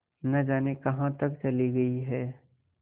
न जाने कहाँ तक चली गई हैं